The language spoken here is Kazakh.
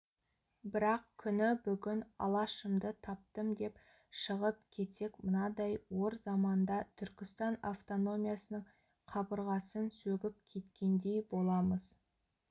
бірақ күні бүгін алашымды таптым деп шығып кетсек мынадай ор заманда түркістан автономиясының қабырғасын сөгіп кеткендей боламыз